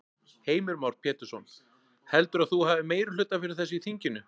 Heimir Már Pétursson: Heldurðu að þú hafi meirihluta fyrir þessu í þinginu?